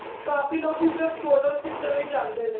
ਕਾਫੀ ਲੋਕ ਹੀ ਸਿਰਫ photo ਖਿੱਚਣ ਲਈ ਜਾਂਦੇ ਨੇ